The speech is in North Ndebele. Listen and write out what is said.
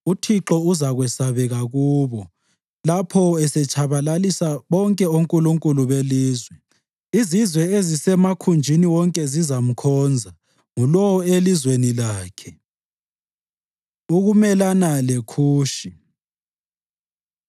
UThixo uzakwesabeka kubo lapho esetshabalalisa bonke onkulunkulu belizwe. Izizwe ezisemakhunjini wonke zizamkhonza, ngulowo elizweni lakhe. UKumelana LeKhushi